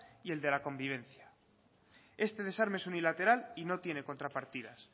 y el de la convivencia este desarme es unilateral y no tiene contrapartidas